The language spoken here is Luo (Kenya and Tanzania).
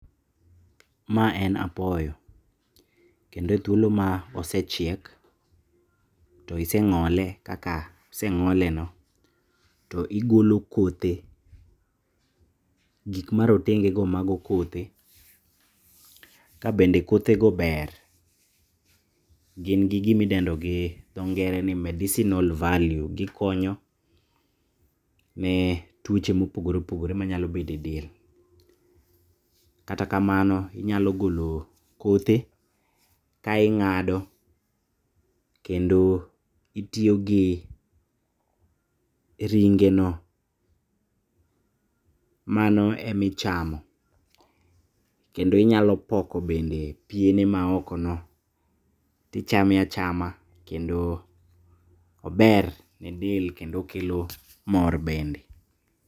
Ma en apoyo, kendo e thuolo maosechiek tosieng'ole kaka oseng'oleno to igolo kothe gikma rotengego mago kothe. Kabende kothego ber, gin gi gima idendo gi dho ngere ni medicinal value. Gikonyo ne tuoche mopogore opogore manyalo bedo e del. Kata kamano inyalo golo kothe kaing'ado, kendo itiyogi ringeno mano emichamo, kendo inyalo poko bende piene maokono tichame achama kendo ober ne del kendo okelo mor bende.